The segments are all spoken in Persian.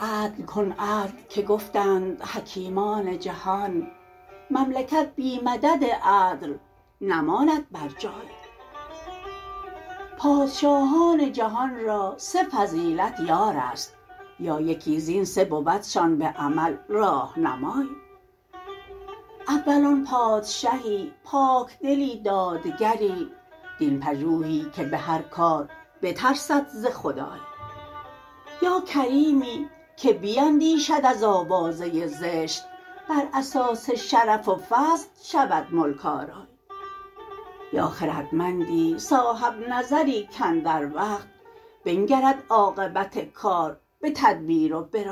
عدل کن عدل که گفتند حکیمان جهان مملکت بی مدد عدل نماند بر جای پادشاهان جهان را سه فضیلت یار است یا یکی زین سه بودشان به عمل راهنمای اول آن پادشهی پاکدلی دادگری دین پژوهی که به هرکار بترسد ز خدای یاکریمی که بیندیشد از آوازه زشت بر اسان شرف و فضل شود ملک آرای یا خردمندی صاحب نظری کاندر وقت بنگرد عاقبت کار به تدبیر و به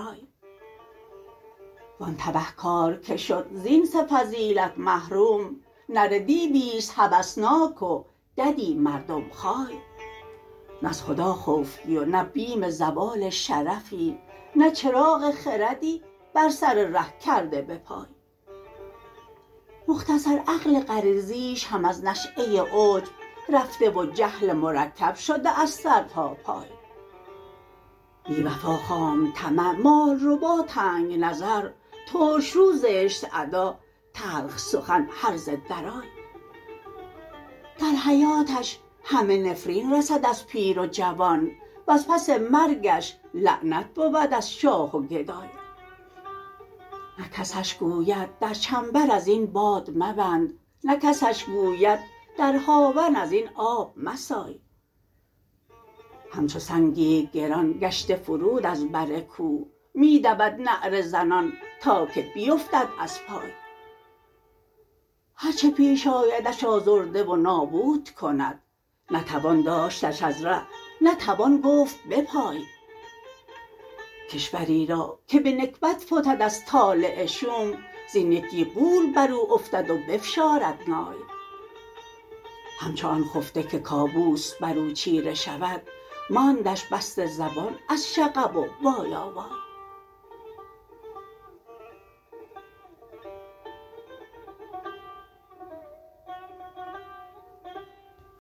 رای وآن تبه کارکه شد زین سه فضیلت محروم نره دیویست هوسناک و ددی مردم خای نز خدا خوفی و نه بیم زوال شرفی نه چراغ خردی بر سر ره کرده بپای مختصرعقل غریزیش هم ازنشأه عجب رفته وجهل مرکب شده ازسرتا پای بیوفا خام طمع مال ربا تنگ نظر ترشرو زشت ادا تلخ سخن هرزه درای در حیاتش همه نفربن رسد ازپیر و جوان وز پس مرگش لعنت بود از شاه و گدای نه کسش گوید در چنبر ازین باد مبند نه کسش کوبد در هاون از این آب مسای همچو سنگی است گران گشته فرود از برکوه می دود نعره زنان تا که بیفتد از پای هرچه پیش آیدش آزرده و نابودکند نه توان داشتش از ره نه توان گفت بپای کشوری را که به نکبت فتد از طالع شوم زین یکی غول برو افتد و بفشارد نای همچو آن خفته که کابوس بر او چیره شود ماندش بسته زبان از شغب و وایا وای